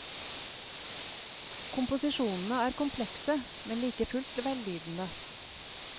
Komposisjonene er komplekse, men like fullt vellydende.